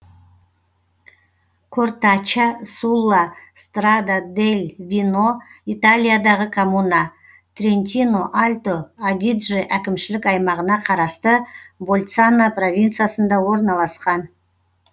кортачча сулла страда дель вино италиядағы коммуна трентино альто адидже әкімшілік аймағына қарасты больцано провинциясында орналасқан